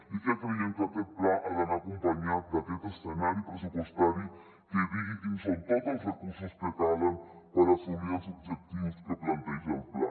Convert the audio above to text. i creiem que aquest pla ha d’anar acompanyat d’aquest escenari pressupostari que digui quins són tots els recursos que calen per assolir els objectius que planteja el pla